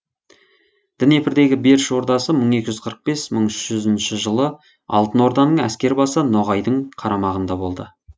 днепрдегі беріш ордасы мың екі жүз қырық бес мың үш жүзінші жылы алтын орданың әскербасы ноғайдың қарамағында болды